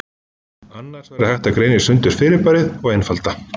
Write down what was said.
Annars væri hægt að greina sundur fyrirbærið og einfalda.